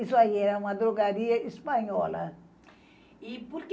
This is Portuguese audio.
Isso aí era uma drogaria espanhola.